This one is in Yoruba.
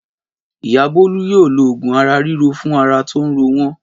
Ìyá Bólú yóò lo òògùn ara ríro fún ara tó ń ro wọ́n?